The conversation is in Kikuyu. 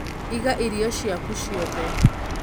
iga irio ciaku ciothe